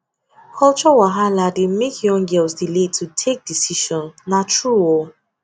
culture wahala dey make young girls delay to take decision na true o